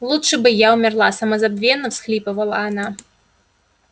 лучше бы я умерла самозабвенно всхлипывала она